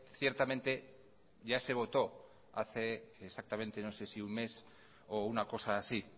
ciertamente ya se votó hace exactamente no sé si un mes o una cosa así